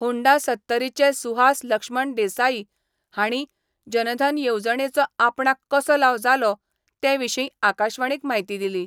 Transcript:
Honda सत्तरीचे सुहास लक्ष्मण देसाई हांणी जनधन येवजणेचो आपणाक कसो लाव जालो ते विशीं आकाशवाणीक म्हायती दिली.